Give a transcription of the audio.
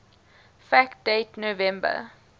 fact date november